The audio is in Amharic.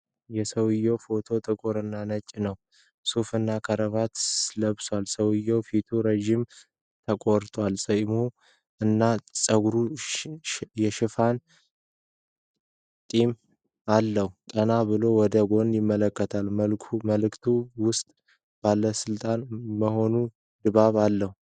የሰውዬው ፎቶ ጥቁር እና ነጭ ነው። ሱፍና ክራቫት ለብሷል። የሰውዬው ፊት ረዥም የተቆረጠ ጸጉር እና ጉንጩን የሸፈነ ጢም አለው። ቀና ብሎ ወደ ጎን ይመለከታል። በመልክቱ ውስጥ ባለሥልጣን የመሆን ድባብ አለ።